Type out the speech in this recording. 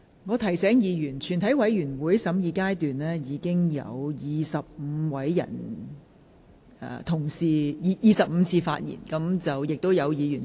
我提醒委員，在全體委員會的審議中，委員發言已達25次，當中有委員已是第四次發言。